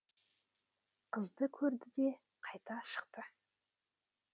қызды көрді де қайта шықты